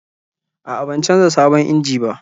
A'a, ban canza sabon injin ba.